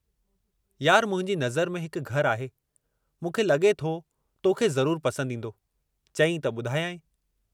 यार मुंहिंजी नज़र में हिकु घरु आहे, मूंखे लॻे थो तोखे ज़रुर पसंदि ईंदो, चईं त ॿुधायंइ?